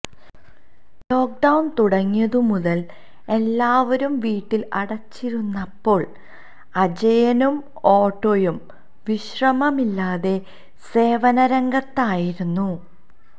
lockdown തുടങ്ങിയതു മുതൽ എല്ലാവരും വീട്ടിൽ അടച്ചിരുന്നപ്പോൾ അജയനും ഓട്ടോയും വിശ്രമമില്ലാതെ സേവനരംഗത്തായിരുന്നു